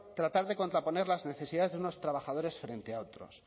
tratar de contraponer las necesidades de unos trabajadores frente a otros